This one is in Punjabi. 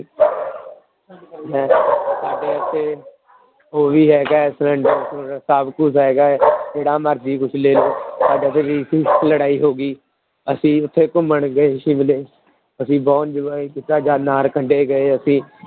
ਸਾਡੇ ਇੱਥੇ ਉਹ ਵੀ ਹੈਗਾ ਹੈ ਸਭ ਕੁਛ ਹੈਗਾ ਹੈ ਜਿਹੜਾ ਮਰਜ਼ੀ ਕੁਛ ਲੈ ਲਓ ਸਾਡੇ ਲੜਾਈ ਹੋ ਗਈ ਅਸੀਂ ਉੱਥੇ ਘੁੰਮਣ ਗਏ ਸ਼ਿਮਲੇ, ਅਸੀਂ ਬਹੁਤ enjoy ਕੀਤਾ ਗਏ ਅਸੀਂ।